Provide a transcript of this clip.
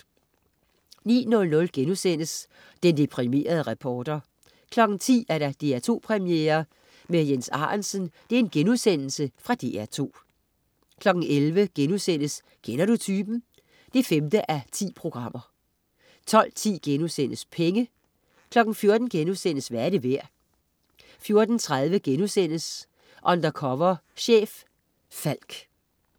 09.00 Den deprimerede reporter* 10.00 DR2 Premiere med Jens Arentzen* Fra DR2 11.00 Kender du typen? 5:10* 12.10 Penge* 14.00 Hvad er det værd?* 14.30 Undercover chef. Falck*